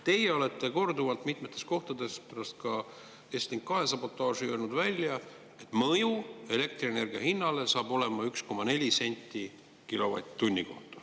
Teie olete korduvalt mitmes kohas, ka pärast Estlink 2 sabotaaži öelnud välja, et mõju elektrienergia hinnale saab olema 1,4 senti kilovatt-tunni kohta.